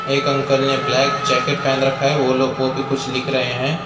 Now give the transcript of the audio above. एक अंकल ने black jacket पहन रखा है वो लोग वो भी कुछ लिख रहे हैं।